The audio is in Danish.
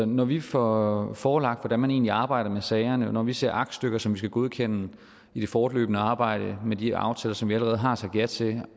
når vi får forelagt hvordan man egentlig arbejder med sagerne og når vi ser aktstykker som vi skal godkende i det fortløbende arbejde med de aftaler som vi allerede har sagt ja til